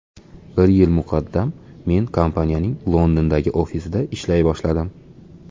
Bir yil muqaddam men kompaniyaning Londondagi ofisida ishlay boshladim.